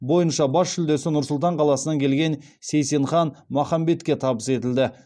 бойынша бас жүлдесі нұр сұлтан қаласынан келген сейсенхан махамбетке табыс етілді